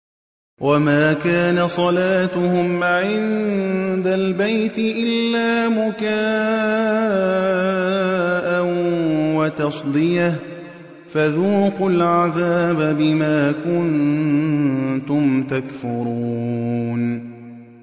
وَمَا كَانَ صَلَاتُهُمْ عِندَ الْبَيْتِ إِلَّا مُكَاءً وَتَصْدِيَةً ۚ فَذُوقُوا الْعَذَابَ بِمَا كُنتُمْ تَكْفُرُونَ